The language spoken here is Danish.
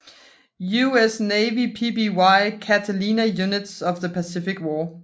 US Navy PBY Catalina Units of the Pacific War